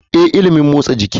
Ee, ilimin motsa jiki ne.